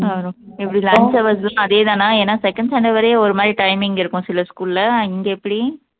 அப்பறம் எப்படி lunch hours அதேதானா ஏன்னா second standard வரையும் ஒரு மாதிரி timing இருக்கும் சில school ல இங்க எப்படி